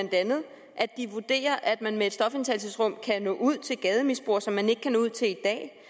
at de vurderer at man med et stofindtagelsesrum kan nå ud til gademisbrugere som man ikke kan nå ud til i